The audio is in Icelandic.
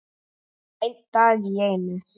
Einn dag í einu.